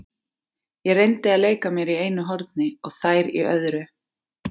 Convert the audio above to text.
Ég reyndi að leika mér í einu horni og þær í öðru.